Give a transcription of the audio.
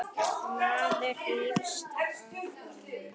Maður hrífst af honum.